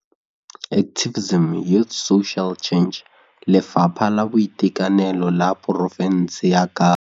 Lefapha la Boitekanelo la porofense ya Kapa.